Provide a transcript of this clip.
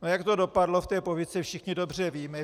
A jak to dopadlo v té povídce, všichni dobře víme.